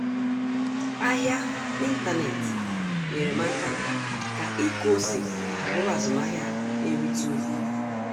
Ahịa n'ịntanetị nyere m aka ime ka ịkụ ose bụrụ azụmahịa na-erite uru